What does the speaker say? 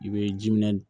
I bɛ ji minɛ